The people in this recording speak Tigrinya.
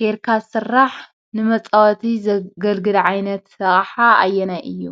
ጌርካ ዝስራሕ ንመፃወቲ ዘገልግል ዓይነት ኣቕሓ ኣየናይ እዩ?